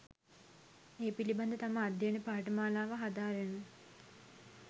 ඒ පිළිබඳ තම අධ්‍යයන පාඨමාලාවල හදාරණ